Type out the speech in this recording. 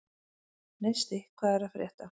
Neisti, hvað er að frétta?